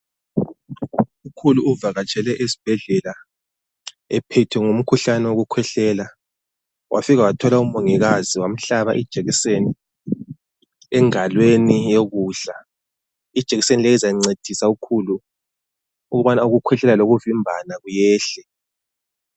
Ukhulu uvakatshele esibhedlela ephethwe ngumkhuhlane wokukhwehlela. Wafika wathola umongikazi wamhlaba ijekiseni engalweni yokudla. Ijekiseni leyi izancedisa ukhulu ukubana ukukhwehlela lokuvimbana kuyehle.